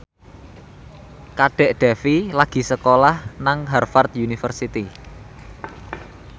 Kadek Devi lagi sekolah nang Harvard university